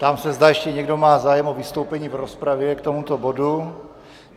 Ptám se, zda ještě někdo má zájem o vystoupení v rozpravě k tomuto bodu?